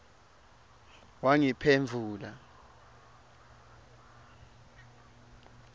wangiphendvula